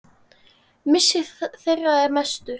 Missir þeirra er mestur.